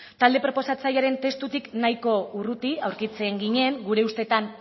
talde proposatzailearen testutik nahiko urruti aurkitzen ginen gure ustetan